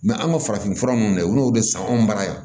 an ka farafin fura nunnu olu de san anw bara yan